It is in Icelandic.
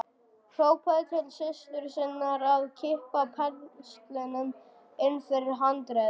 Hrópaði til systur sinnar að kippa penslinum inn fyrir handriðið.